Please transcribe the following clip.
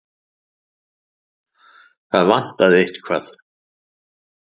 Það vantaði eitthvað.